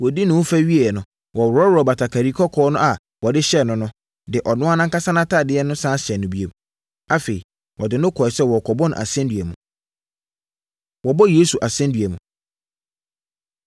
Wɔdii ne ho fɛ wieeɛ no, wɔworɔɔ batakari kɔkɔɔ a wɔde hyɛɛ no no, de ɔno ankasa nʼatadeɛ no sane hyɛɛ no bio. Afei, wɔde no kɔeɛ sɛ wɔrekɔbɔ no asɛnnua mu. Wɔbɔ Yesu Asɛnnua Mu